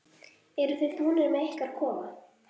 Eruð þið búnir með ykkar kofa?